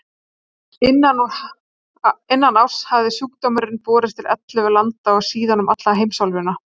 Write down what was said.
Innan árs hafði sjúkdómurinn borist til ellefu landa og síðan um alla heimsálfuna.